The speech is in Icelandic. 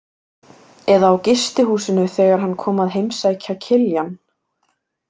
Eða á gistihúsinu þegar hann kom að heimsækja Kiljan?